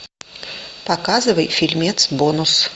показывай фильмец бонус